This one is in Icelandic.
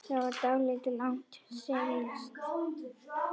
Það var dálítið langt seilst.